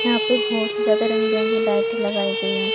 यहां पे बहुत ही ज्यादा रंग बिरंगी लाइटें लगाई गई हैं।